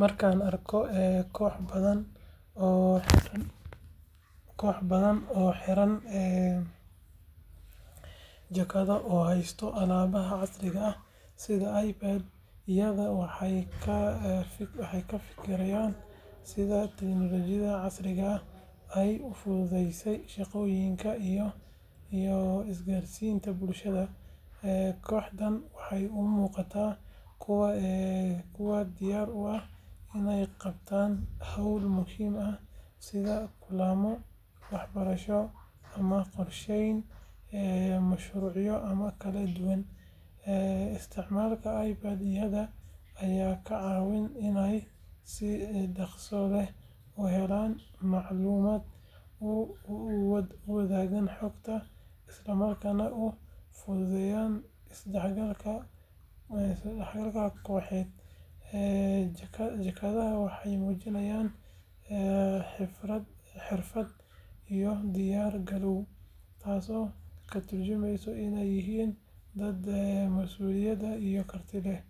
Marka aan arko koox dad ah oo xidhan jaakado oo haysta aaladaha casriga ah sida iPad-yada waxaan ka fikirayaa sida tiknoolajiyadda casriga ah ay u fududeysay shaqooyinka iyo isgaarsiinta bulshada. Kooxdan waxay u muuqdaan kuwo diyaar u ah inay qabtaan hawlo muhiim ah sida kulamo, waxbarasho ama qorsheyn mashruucyo kala duwan. Isticmaalka iPad-yada ayaa ka caawinaya inay si dhaqso leh u helaan macluumaad, u wadaagaan xogta, isla markaana u fududeeyaan isdhexgalka kooxeed. Jaakadaha waxay muujinayaan xirfad iyo diyaar garow, taasoo ka tarjumaysa inay yihiin dad masuuliyad iyo karti leh.